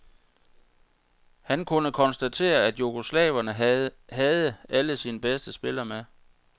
Han kunne konstatere, at jugoslaverne havde alle sine bedste spillere med.